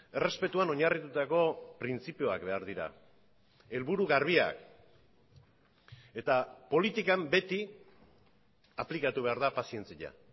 errespetuan oinarritutako printzipioak behar dira helburu garbiak eta politikan beti aplikatu behar da pazientzia